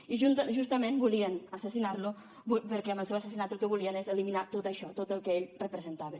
i justament volien assassinar lo perquè amb el seu assassinat el que volien és eliminar tot això tot el que ell representava